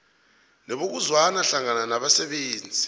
nebokuzwana hlangana nabasebenzi